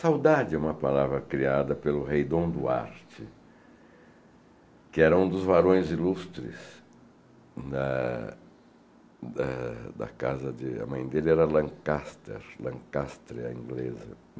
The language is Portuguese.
Saudade é uma palavra criada pelo rei Dom Duarte, que era um dos varões ilustres da da da casa de... a mãe dele era Lancáster, Lancástre é a inglesa.